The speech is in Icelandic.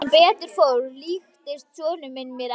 Sem betur fór líktist sonur minn mér ekki.